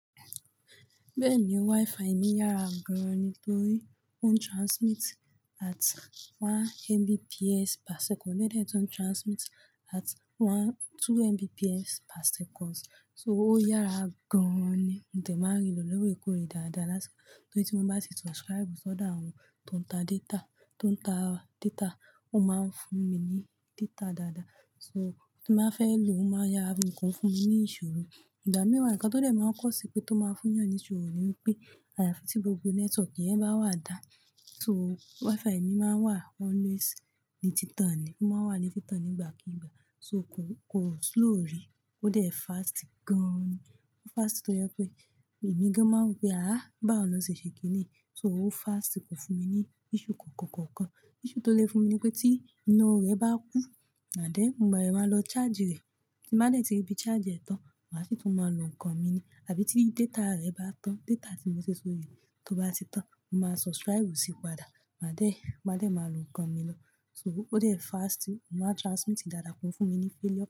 Bẹ́ẹ̀ni, Wi-Fi mi yára gan-an ni torí ó n transmit at one Mbps per second, lẹ́dẹ̀ tó n transmit at one-- two Mbps per second. So ó yára gan-an ni. Mò de máa n ri lò lọ́wọ́ ìkórè dáadáa lásán. Torí tí mo bá ṣe subscribe sọ̀do àwọn tó ń ta data, tó ń ta data, ó máa ń fún mi ní data dáadáa. So, tí mo ba fẹ́ lò ó máa yára nǹkan fún mi ní ìṣòro. Ìgbá mií wa nǹkan tó dẹ̀ máa ń cause pé tó máa fún yàn ní ìṣòro ni pé, àyàfi tí gbogbo network yẹn bá wà dáa, so Wi-Fi mi máa ń wà always ni títàn ni. Ó máa ń wà ní títàn nígbàkigbà. So kò, kò slow rí. Ó dẹ̀ fast gan-an ni. Ó fast tó jẹ pé èmi gan-an máa wo pe "àa! Báwo na ṣe ṣe kíni yi?" So ó fast kò fún mi ní issue kankan, kankan. Issue tó lè fún mi ni pé tí iná rẹ̀ bá kú ànd then, mo bá dẹ̀ máa lọ charge rẹ̀. Tí nbà dẹ̀ ti rí bí charge ẹ̀ tán, màá sì tún máa lo nǹkan mi ni. Àbí tí data rẹ̀ bá tán, data tí mo fi sórí tó bá ti tán, mo máa subscribe sí i padà. Màá dẹ̀, màá dẹ̀ máa lo nǹkan mi lọ. So ó dẹ̀ fast, ó máa transmit dáadáa, kò ń fún mi ní failure.